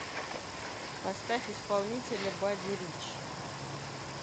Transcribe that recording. поставь исполнителя бадди рич